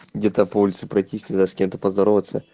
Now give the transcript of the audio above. где-то по улице пройтись с кем то поздороваться